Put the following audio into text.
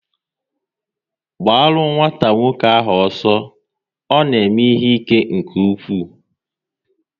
Gbaru nwata nwoke ahụ ọsọ, ọ na eme ihe ike nke ụkwụ!